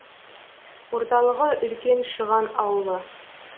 орталығы үлкен шыған ауылы